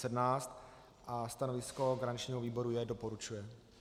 Stanovisko garančního výboru je: doporučuje.